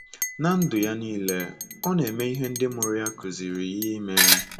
Ná ndụ ya nile, o na-eme ihe ndị mụrụ ya kụziiri ya ime.